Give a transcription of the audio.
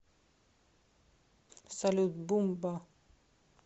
салют бумба